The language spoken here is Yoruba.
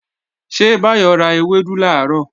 Ṣé Báyọ̀ ra ewédú làárọ̀?